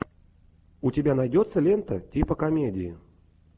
у тебя найдется лента типа комедии